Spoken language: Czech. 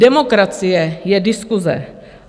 Demokracie je diskuse.